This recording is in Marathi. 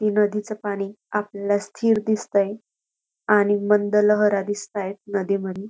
नदीच पाणी आपल्याला स्थिर दिसतय आणि मंद लहरा दिसतेयत नदी मधी --